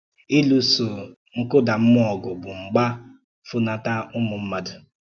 Ịlụ̀sò nkúdàmmúò ògwù bụ̀ mgbà fúnọ́tà ụmụ̀ mmádù.